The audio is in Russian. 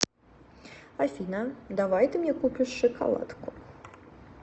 афина давай ты мне купишь шоколадку